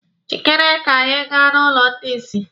Jịkere ka anyị gaa n'ụlọ ndị isi!